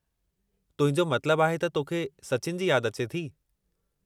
तुंहिंजो मतिलबु आहे त तोखे सचिन जी यादि अचे थी?